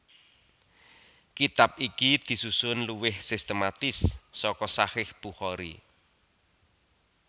Kitab iki disusun luwih sistematis saka Shahih Bukhari